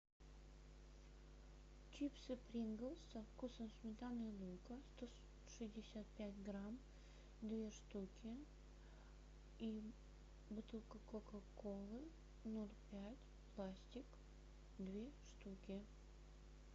чипсы принглс со вкусом сметаны и лука сто шестьдесят пять грамм две штуки и бутылка кока колы ноль пять пластик две штуки